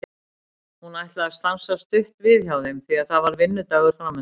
Hún ætlar að stansa stutt við hjá þeim því að það er vinnudagur framundan.